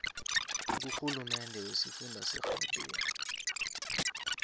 kurhulumende wesifunda segauteng